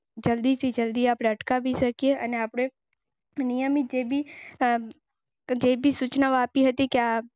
જોઈ ને ખબર છે. બધું પાલન કરવું જોઈએ કેટલો ટાઇમ ઘરમાં. મિત્રોને ક્યાં આપને ના મળી અને આ પ્રકારમાં સાવચેતી રાખે જેથી આરોપી.